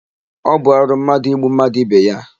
Ọ bụ arụ mmadụ igbu mmadụ ibe ya.